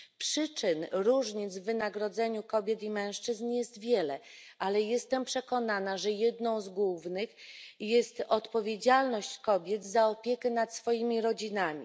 Przyczyn różnic w wynagrodzeniu kobiet i mężczyzn jest wiele, ale jestem przekonana, że jedną z głównych jest odpowiedzialność kobiet za opiekę nad swoimi rodzinami.